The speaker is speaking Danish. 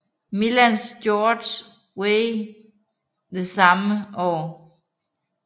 Milans George Weah det samme år